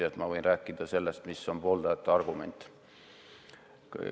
Nii et ma võin rääkida sellest, mis on pooldajate argumendid.